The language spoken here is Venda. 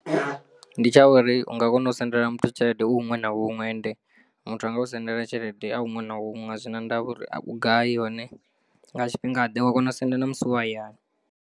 Ndi tsha uri u nga kona u sendela muthu tshelede u huṅwe na huṅwe ende muthu anga u sendela tshelede a huṅwe na huṅwe a zwina ndavha uri u gai hone nga tshifhingaḓe wa kona u senda na musi u hayani.